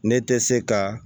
Ne tɛ se ka